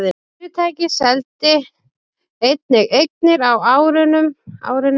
Fyrirtækið seldi einnig eignir á árinu